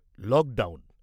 lockdown